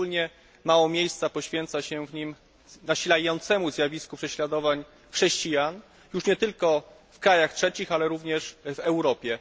Szczególnie mało miejsca poświęca się w nim nasilającemu się zjawisku prześladowań chrześcijan, już nie tylko w krajach trzecich, ale również w Europie.